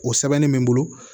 O sɛbɛnni bɛ n bolo